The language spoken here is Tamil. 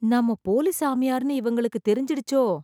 நாம போலி சாமியார்ன்னு இவங்களுக்கு தெரிஞ்சிடுச்சோ..